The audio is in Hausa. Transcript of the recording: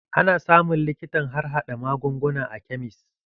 Ana samun likitan harhaɗa magunguna a kemis.